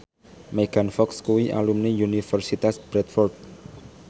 Megan Fox kuwi alumni Universitas Bradford